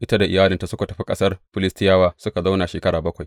Ita da iyalinta suka tafi ƙasar Filistiyawa suka zauna shekara bakwai.